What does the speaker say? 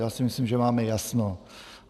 Já si myslím, že máme jasno.